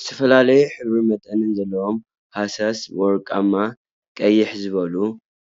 ዝተፈላለዩ ሕብሪን መጠንን ዘለዎም ሃሳስ ወርቃማ /ቅይሕ ዝበሉ/